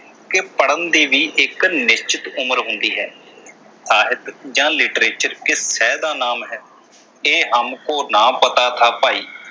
ਕਿ ਪੜਨ ਦੀ ਵੀ ਇਕ ਨਿਸ਼ਚਿਤ ਉਮਰ ਹੁੰਦੀ ਹੈ। ਸਾਹਿਤ ਜਾਂ literature ਕਿਸ ਸ਼ੈਅ ਦਾ ਨਾਮ ਹੈ ਇਹ ਹਮ ਕੋ ਨਾ ਪਤਾ ਥਾ ਭਾਈ